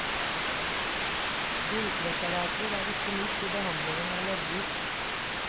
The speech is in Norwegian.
Gullpreparater er ikke nytt i behandlingen av leddgikt.